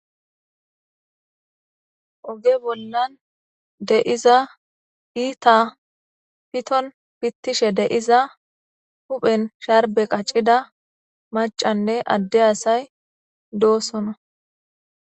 Oge bolla diza iita pito pitishe diza maccanne adde asay hayssan doosona.